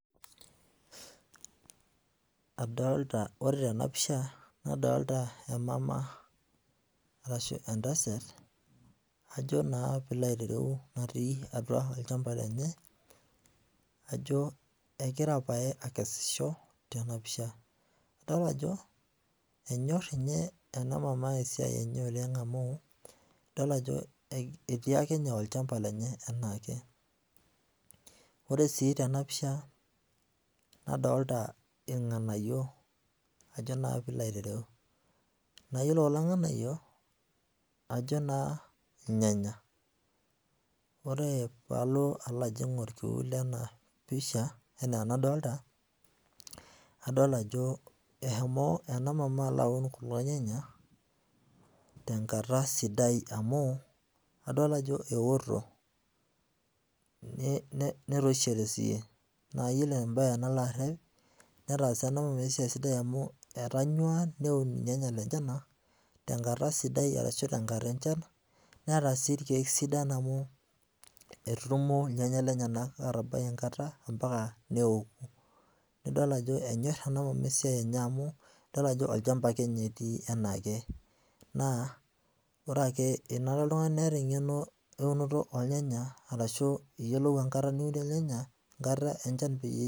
Adolita, ore tena pisha nadolita emama arashu entasat ajo naa piilo aitereu natii atwa olchamba lenye ajo egira pae akesisho tena pisha. Adol ajo enyorr ninye ena maama esiai enye oleng amu, idol ajo etii ake ninye olchamba lenye enaake. Ore sii tena pisha, nadolita irng'anayio ajo naa piilo aitereu. Naa iyiolo kulo ng'anayio ajo naa ilnyanya. Ore paalo ajo aing'urr orkiu lena pisha, enadolita, adol ajo eshomo ena maama aun kulo nyanya tenkata sidai amu adol ajo ewoto netoishote sii. Naa iyiolo embae nalo arrep, netaasa ena maama esiai sidai amu etaanywa neun ilnyanya lenyenak tenkata sidai arashu tenkata enchan. Neetasii irkiek sidan amu etutumo irnyanya lenyenak aatabai enkata ompaka nidol ajo enyorr ena maama esiai oleng amu idol ajo olchamba ake ninye etii enaake. Naa ore ake, ore ake enare niata oltung'ani eng'eno eunoto olnyanya arashu iyiolou enkata niunie ilnyanya, enkata enchan pee